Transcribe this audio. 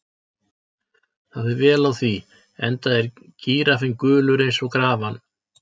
Það fer vel á því, enda er gíraffinn gulur eins og grafan.